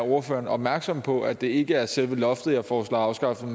ordføreren er opmærksom på at det ikke er selve loftet jeg foreslår afskaffet